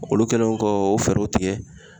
Olu kɛlen kɔ o fɛɛrɛw tigɛ